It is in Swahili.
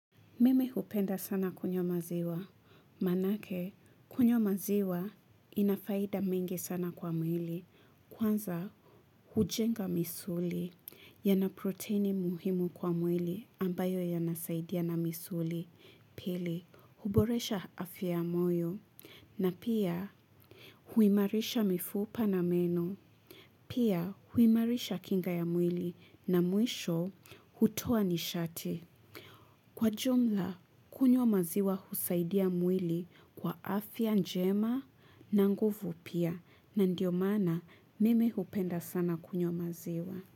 Meme hupenda sana kunywa maziwa, manake kunywa maziwa inafaida mingi sana kwa mwili, kwanza hujenga misuli, yana proteini muhimu kwa mwili ambayo yanasaidiana misuli, pili huboresha afia moyo, na pia huimarisha mifupa na meno, pia huimarisha kinga ya mwili na mwisho hutoa nishati. Kwa jumla, kunywa maziwa husaidia mwili kwa afya njema na nguvu pia na ndio maana mimi hupenda sana kunywa maziwa.